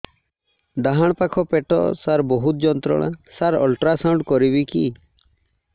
ଡାହାଣ ପାଖ ପେଟ ସାର ବହୁତ ଯନ୍ତ୍ରଣା ସାର ଅଲଟ୍ରାସାଉଣ୍ଡ କରିବି କି